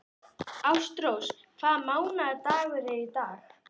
Ástrós, hvaða mánaðardagur er í dag?